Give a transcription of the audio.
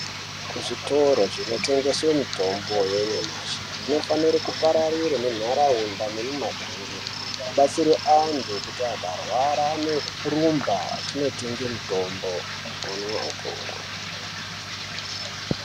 Kuzvitoro zvinotengese mitombo yanyamashi zvinofanire kupararira nenharaunda nemiganga kubatsire antu kuti akarwara anorumba echindotenge mitombo omwa opora.